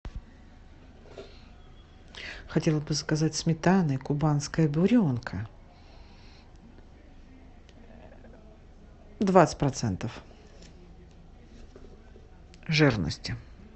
хотела бы заказать сметаны кубанская буренка двадцать процентов жирности